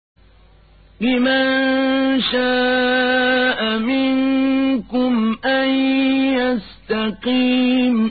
لِمَن شَاءَ مِنكُمْ أَن يَسْتَقِيمَ